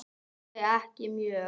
Nei ekki mjög.